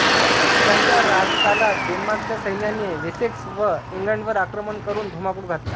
त्याच्या राज्यकालात डेन्मार्कच्या सैन्याने वेसेक्स व ईंग्लंडवर आक्रमण करून धुमाकूळ घातला